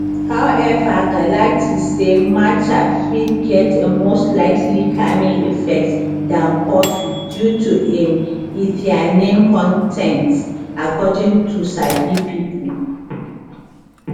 however galati say matcha fit get a more slightly calming effect dan coffee due to im ltheanine con ten t according to sabi pipo